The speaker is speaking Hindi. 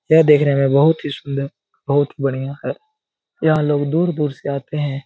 यह देखने में बहुत ही सुन्दर बहुत ही बढियाँ है यहाँ लोग दूर-दूर से आतें हैं।